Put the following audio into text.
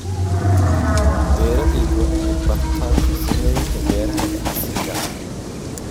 Beeralaydu waa inay bartaan farsamooyinka beeraha ee casriga ah.